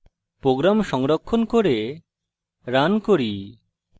program সংরক্ষণ করে run করি